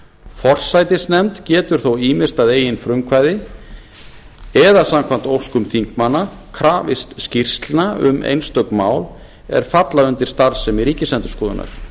forsætisnefnd getur þó ýmist að eigin frumkvæði eða samkvæmt óskum þingmanna krafist skýrslna um einstök mál er falla undir starfsemi ríkisendurskoðunar